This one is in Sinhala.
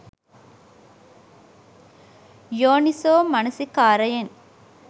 යෝනිසෝ මනසිකාරයෙන්